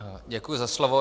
Děkuji za slovo.